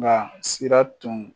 Nka sira tun